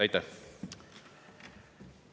Aitäh!